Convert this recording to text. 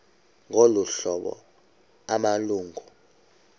ngolu hlobo amalungu